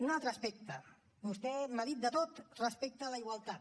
un altre aspecte vostè m’ha dit de tot respecte a la igualtat